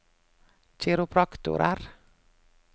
kiropraktorer